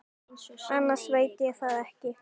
Annars veit ég það ekki.